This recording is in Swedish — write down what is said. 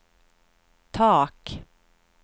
tak